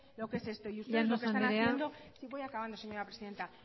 lo que es esto y ustedes lo que están haciendo llanos andrea sí voy acabando señora presidenta